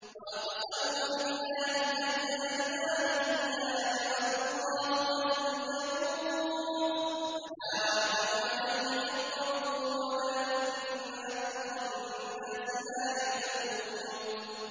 وَأَقْسَمُوا بِاللَّهِ جَهْدَ أَيْمَانِهِمْ ۙ لَا يَبْعَثُ اللَّهُ مَن يَمُوتُ ۚ بَلَىٰ وَعْدًا عَلَيْهِ حَقًّا وَلَٰكِنَّ أَكْثَرَ النَّاسِ لَا يَعْلَمُونَ